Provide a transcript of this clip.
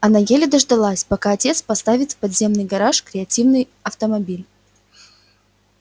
она еле дождалась пока отец поставит в подземный гараж креативный автомобиль